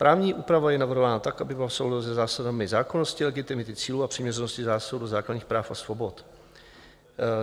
Právní úprava je navrhována tak, aby byla v souladu se zásadami zákonnosti, legitimity cílů a přiměřenosti zásahu do základních práv a svobod.